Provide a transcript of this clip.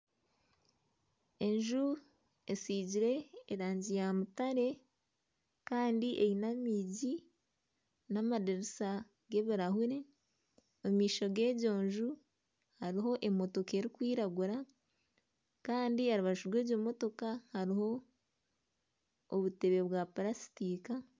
Enju esigire erangi ya mutare kandi eine amiigi n'amadirisa g'ebirahure, amaisho g'egyo nju hariho emotoka erikwiragura kandi ahari rubaju rwegyo motoka hariho obutebe bwa purasitika